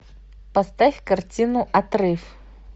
поставь картину отрыв